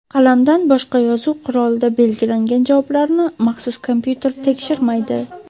Qalamdan boshqa yozuv qurolida belgilangan javoblarni maxsus kompyuter tekshirmaydi.